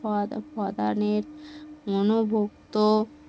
মন ভক্ত